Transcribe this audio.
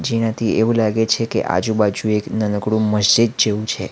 એનાથી એવું લાગે છે કે આજુ-બાજુ એક નાનકડું મસ્જિદ જેવું છે.